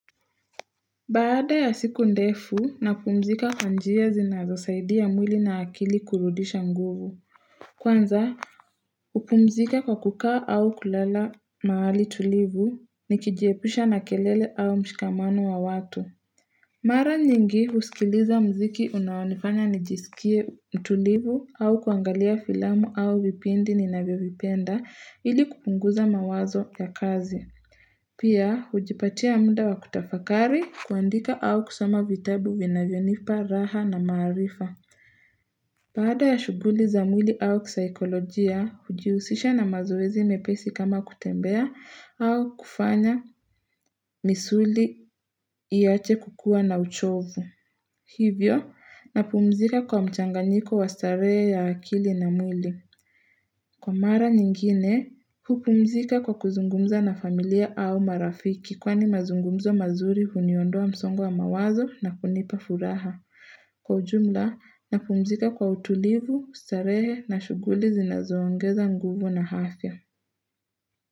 Baada ya siku ndefu napumzika kwa njia zinazosaidia mwili na akili kurudisha nguvu. Kwanza, hupumzika kwa kukaa au kulala mahali tulivu nikijepusha na kelele au mshikamano wa watu. Mara nyingi husikiliza mziki unaonifanya nijisikie tulivu au kuangalia filamu au vipindi ninavyovipenda ili kupunguza mawazo ya kazi. Pia, hujipatia muda wa kutafakari kuandika au kusoma vitabu vinavyonipa raha na maarifa. Baada ya shugHuli za mwili au kisaikolojia, hujihusisha na mazoezi mepesi kama kutembea au kufanya misuli iache kukua na uchovu. Hivyo, napumzika kwa mchanganiko wa starehe ya akili na mwili. Kwa mara nyingine, hupumzika kwa kuzungumza na familia au marafiki kwani mazungumzo mazuri huniondoa msongo wa mawazo na kunipa furaha. Kwa ujumla, napumzika kwa utulivu, starehe na shughuli zinazoongeza nguvu na afya.